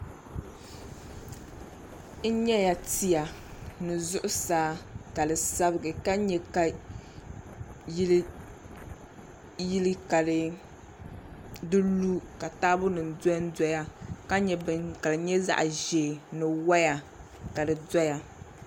N nyɛla tia ni zuɣusaa ka di sabigi ka nyɛ ka yili ka di lu ka taabo nim dondoya ka nyɛ bini ka di nyɛ zaɣ ʒiɛ ni woya ka di doya